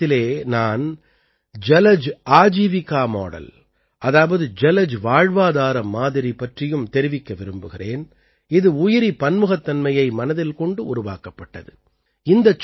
இந்த இடத்திலே நான் ஜலஜ் ஆஜீவிகா மாடல் அதாவது ஜலஜ் வாழ்வாதார மாதிரி பற்றியும் தெரிவிக்க விரும்புகிறேன் இது உயிரிப் பன்முகத்தன்மையை மனதில் கொண்டு உருவாக்கப்பட்டது